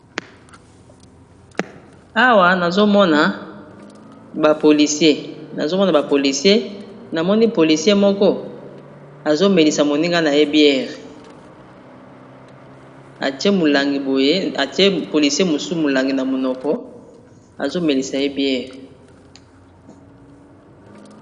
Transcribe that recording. Awa nazomona ba policiens namoni policien moko azo Melisa moninga naye bière Atiye mulangi na monoko po amela.